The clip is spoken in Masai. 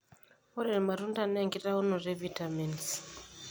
Ore irmatunda naa enkitaunoto e vitamins.